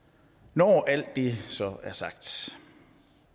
når alt det